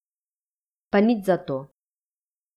Pa nič zato.